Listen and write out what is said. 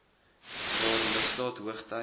waar misdaad hoogty